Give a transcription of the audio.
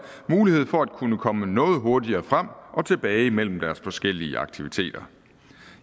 mulighed for at kunne komme noget hurtigere frem og tilbage mellem deres forskellige aktiviteter